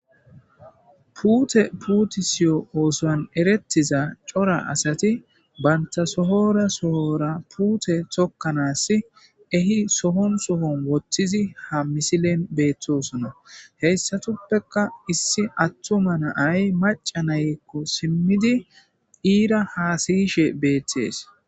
puute puutisiyo oosoan erettiza cora asati bayntasohora sohora puute tokkanaas ehi sohon sohon wothtizi ha misilen beettosona heyssatuppeka issi attoma naay maca naykko simmidi iira haasiyishe beettees